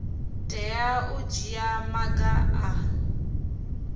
tea u dzhia maga a